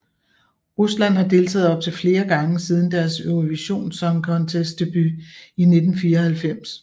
Rusland har deltaget op til flere gange siden deres Eurovision Song Contest debut i 1994